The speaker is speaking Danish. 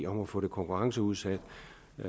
om at få det konkurrenceudsat